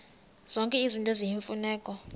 zonke izinto eziyimfuneko